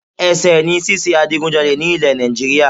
Ẹ̀sẹ̀ ni ṣíṣe adigunjalè ní ilẹ̀ Nàìjíríà